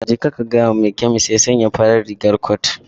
Jeka ka gaya wa mai kemis ya sa farar rigar cot.